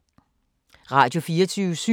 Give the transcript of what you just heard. Radio24syv